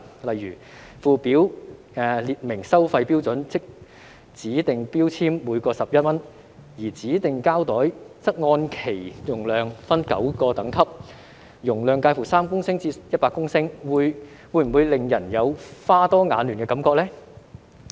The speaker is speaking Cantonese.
例如，附表列明收費標準，即指定標籤每個11元，而指定膠袋則按其容量分為9個等級，容量介乎3公升至100公升，會否令人有花多眼亂的感覺呢？